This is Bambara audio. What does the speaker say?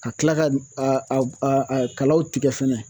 Ka kila ka kalaw tigɛ fɛnɛ